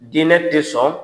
Diinɛ te sɔn